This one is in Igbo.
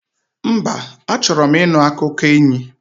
Mba, achọrọ m ịnụ akụkọ enyi